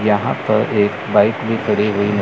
यहां पर एक बाइक भी खड़ी हुई--